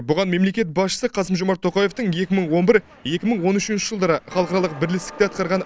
бұған мемлекет басшысы қасым жомарт тоқаевтың екі мың он бір екі мың он үшінші жылдары халықаралық бірлестікте атқарған